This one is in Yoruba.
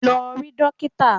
Lọ rí dókítà!